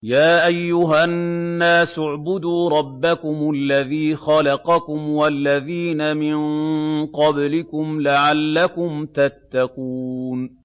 يَا أَيُّهَا النَّاسُ اعْبُدُوا رَبَّكُمُ الَّذِي خَلَقَكُمْ وَالَّذِينَ مِن قَبْلِكُمْ لَعَلَّكُمْ تَتَّقُونَ